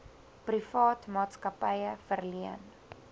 privaat maatskappye verleen